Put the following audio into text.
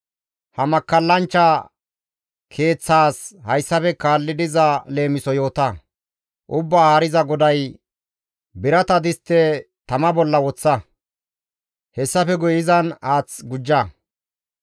Ha makkallanchcha keeththaas hayssafe kaalli diza leemisoza yoota; Ubbaa Haariza GODAY, « ‹Birata distte tama bolla woththa; hessafe guye izan haath gujja.